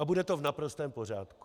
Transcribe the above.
A bude to v naprostém pořádku.